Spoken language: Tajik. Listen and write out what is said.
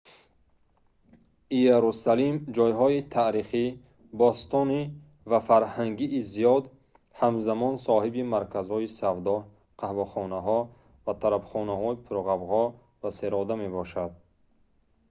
иерусалим ҷойҳои таърихӣ бостонӣ ва фарҳангии зиёд ҳамзамон соҳиби марказҳои савдо қаҳвахонаҳо ва тарабхонаҳои пурғавғо ва серодам мебошад